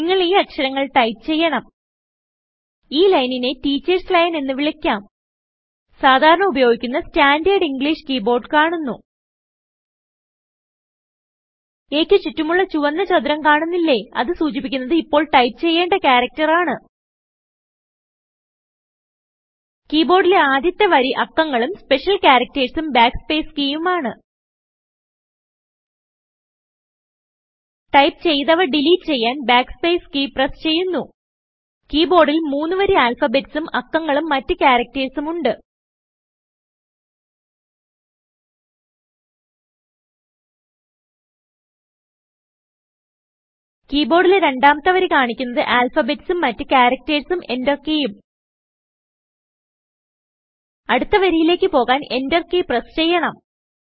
നിങ്ങൾ ഈ അക്ഷരങ്ങൾ ടൈപ്പ് ചെയ്യണം ഈ ലൈനിനെ ടീച്ചേർസ് ലൈൻ എന്ന് വിളിക്കാം സാധാരണ ഉപയോഗിക്കുന്ന സ്റ്റാൻഡേർഡ് ഇംഗ്ലീഷ് കീ ബോർഡ് കാണുന്നു aക്ക് ചുറ്റുമുള്ള ചുവന്ന ചതുരം കാണുന്നില്ലേ160അത് സൂചിപ്പിക്കുന്നത് ഇപ്പോൾ ടൈപ്പ് ചെയ്യേണ്ട ക്യാരക്ടർ ആണ് കീ ബോർഡിലെ ആദ്യത്തെ വരി അക്കങ്ങളും സ്പെഷ്യൽ charactersഉം ബാക്ക് സ്പേസ് കീയുമാണ് ടൈപ്പ് ചെയ്തവ ഡിലിറ്റ് ചെയ്യാൻ backspace കെയ് പ്രസ് ചെയ്യുന്നു കീ ബോർഡിൽ മൂന്ന് വരി ആൽഫബെറ്റസും അക്കങ്ങളും മറ്റ് ക്യാരകറ്റേഴ്സും ഉണ്ട് കീ ബോർഡിലെ രണ്ടാമത്തെ വരി കാണിക്കുന്നത് ആൽഫബെറ്റസും മറ്റ് ക്യാരകറ്റേഴ്സും എന്റർ കീയും അടുത്ത വരിയിലേക്ക് പോകാൻ എന്റർ കീ പ്രസ് ചെയ്യണം